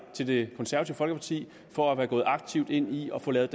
det konservative folkeparti for at være gået aktivt ind i at få lavet